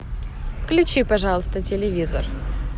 включи пожалуйста телевизор